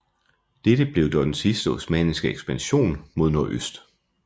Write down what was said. Dette blev dog den sidste osmanniske ekspansion mod nordøst